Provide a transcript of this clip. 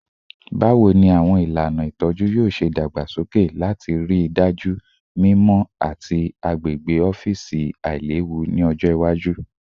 Bawo ni awọn ilana itọju yoo ṣe dagbasoke lati rii daju mimọ ati agbegbe ọfiisi ailewu ni ọjọ iwaju?